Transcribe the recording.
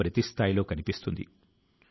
ఆయన వయస్సు 84 సంవత్సరాలు